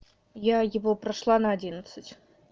я его прошла на одиннадцать